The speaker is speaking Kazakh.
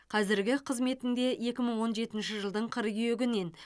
қазіргі қызметінде екі мың он жетінші жылдың қыркүйегінен